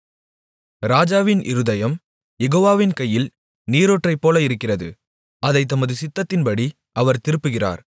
ராஜாவின் இருதயம் யெகோவாவின் கையில் நீரூற்றைப்போல இருக்கிறது அதைத் தமது சித்தத்தின்படி அவர் திருப்புகிறார்